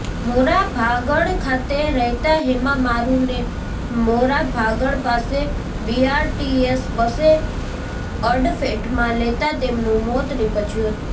મોરાભાગળ ખાતે રહેતા હેમા મારૂને મોરાભાગળ પાસે બીઆરટીએસ બસે અડફેટમાં લેતા તેમનું મોત નીપજ્યું હતું